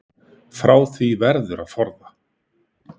Frá því verður að forða.